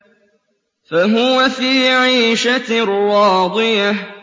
فَهُوَ فِي عِيشَةٍ رَّاضِيَةٍ